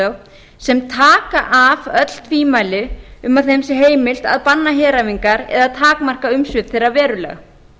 skipulagslög sem taka af öll tvímæli um að þeim sé heimilt að banna heræfingar eða takmarka umsvif þeirra verulega